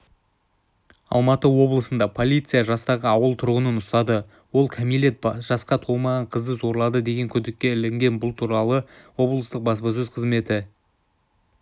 алматы облысында полиция жастағы ауыл тұрғынын ұстады ол кәмелет жасқа толмаған қызды зорлады деген күдікке ілінген бұл туралы облыстық баспасөз қызметі